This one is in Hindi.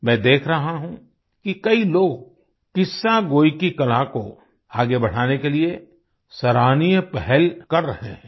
मैं देख रहा हूँ कि कई लोग किस्सागोई की कला को आगे बढाने के लिए सराहनीय पहल कर रहे हैं